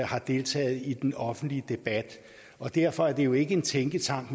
har deltaget i den offentlige debat og derfor er det jo ikke en tænketank